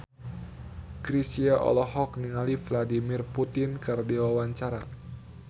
Chrisye olohok ningali Vladimir Putin keur diwawancara